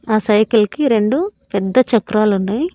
ఆ సైకిల్ కి రెండు పెద్ద చక్రాలున్నాయ్.